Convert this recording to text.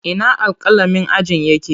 Ina alƙalamin ajin yake?